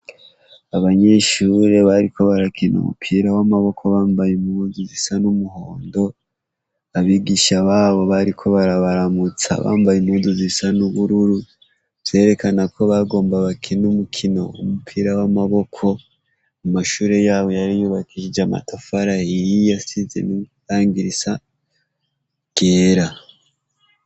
Abanyeshure bariko barakina umupira wamaboko bambaye bambaye impuzu zisa numuhondo abigisha babo bariko barabaramutsa bambaye impuzu zisa nubururu zerekana ko bagomba bakina umukino umupira wamaboko amashure yabo yari yubakishijwe amatafari ahiye asize irangi ryera